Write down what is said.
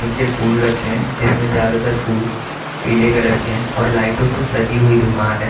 नीचे फुल रखे हैं जिसमें ज्यादातर फुल पीले कलर की हैं और लाइटों से सजी हुई दुकान है।